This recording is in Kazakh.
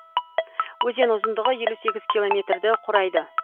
өзен ұзындығы елу сегіз километрді құрайды